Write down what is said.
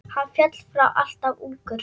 Hann féll frá alltof ungur.